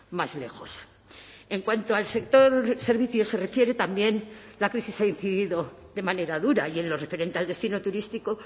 más lejos en cuanto al sector servicios se refiere también la crisis ha incidido de manera dura y en lo referente al destino turístico